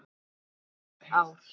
Þetta voru góð ár.